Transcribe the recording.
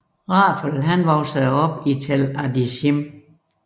Rafael voksede op i Tel Adashim